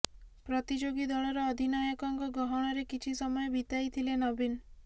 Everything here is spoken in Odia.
ପ୍ରତିଯୋଗୀ ଦଳର ଅଧିନାୟକଙ୍କ ଗହଣରେ କିଛି ସମୟ ବିତାଇଥିଲେ ନବୀନ